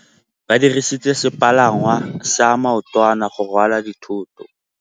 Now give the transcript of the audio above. Ba dirisitse sepalangwasa maotwana go rwala dithôtô.